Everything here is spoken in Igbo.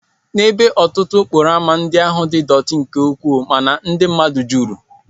N'ebe ụfọdụ, okporo ámá ndị ahụ dị dọtí nke ukwuu mana ndị mmadụ juru.